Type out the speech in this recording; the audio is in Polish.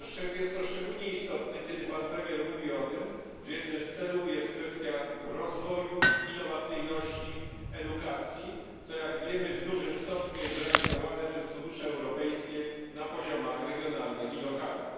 Jest to szczególnie istotne, kiedy pan premier mówi o tym, że jednym z celów jest kwestia rozwoju innowacyjności, edukacji, co jak wiemy w dużym stopniu jest zrealizowane przez fundusze europejskie na poziomach regionalnych i lokalnych.